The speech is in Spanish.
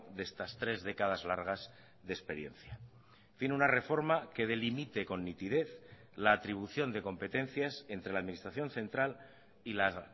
de estas tres décadas largas de experiencia tiene una reforma que delimite con nitidez la atribución de competencias entre la administración central y las